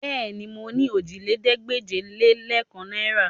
Bẹ́ẹ̀ni, mo ní òjìlélẹ́ẹ̀ẹ́dégbèje-lé-kan náìrà